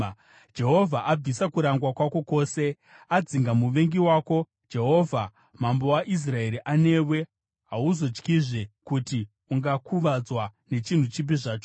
Jehovha abvisa kurangwa kwako kwose, adzinga muvengi wako. Jehovha, Mambo waIsraeri, anewe; hauzotyizve kuti ungakuvadzwa nechinhu chipi zvacho.